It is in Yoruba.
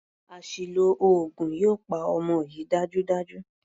Àṣìlò oògùn yóò pa ọmọ yìí dájúdájú.